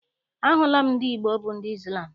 Ahụla m ndị Igbo bụ ndị Izlam.